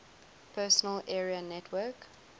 personal area network